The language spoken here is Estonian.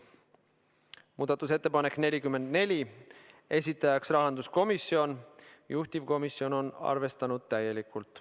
Muudatusettepanek nr 44, esitajaks on rahanduskomisjon ja juhtivkomisjon on arvestanud seda täielikult.